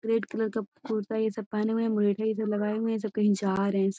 Boundary के चिड़ियाघर सब ह। फोटो छी जब तक की --